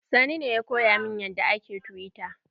Sani ne ya koya min yadda ake tiwita.